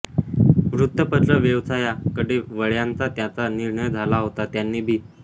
वृत्तपत्र व्यवसाया कडे वळ्यांच्या त्याचां निर्णय झाला होता त्यांनी बी